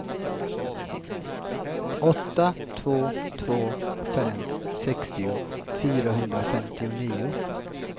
åtta två två fem sextio fyrahundrafemtionio